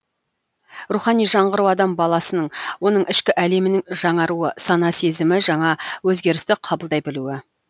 рухани жаңғыру адам баласының оның ішкі әлемінің жаңаруы сана сезімі жаңа өзгерісті қабылдай білуі